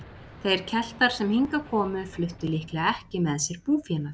þeir keltar sem hingað komu fluttu líklega ekki með sér búfénað